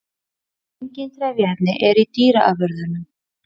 Engin trefjaefni eru í dýraafurðum.